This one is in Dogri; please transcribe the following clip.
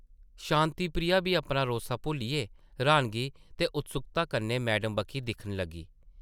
शांति प्रिया बी अपना रोस्सा भुल्लियै र्हानगी ते उत्सुक्ता कन्नै मैडम बक्खी दिक्खन लगी ।